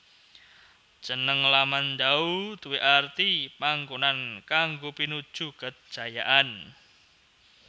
Jeneng Lamandau duwé arti Panggonan kanggo pinuju kejayaan